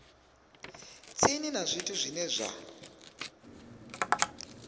tsini na zwithu zwine zwa